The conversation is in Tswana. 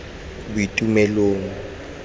boitumelong